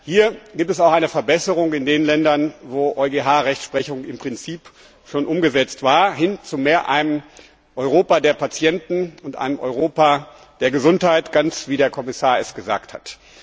Hier gibt es auch eine Verbesserung in den Ländern, in denen die EuGH Rechtsprechung im Prinzip schon umgesetzt war, hin zu einem Europa der Patienten und zu einem Europa der Gesundheit, ganz wie der Kommissar es gesagt hat.